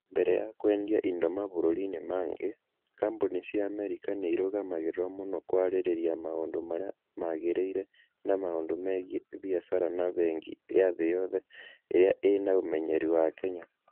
Mbere ya kwendia indo mabũrũri-inĩ mangĩ, kambuni cia Amerika nĩ irũgamagĩrĩrio mũno kwarĩrĩria maũndũ marĩa magĩrĩire na maũndũ megiĩ biacara na bengi ya thĩ yothe ĩrĩa ĩĩ na ũmenyeru wa Kenya.